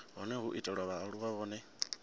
hone ho itelwa vhaaluwa vhane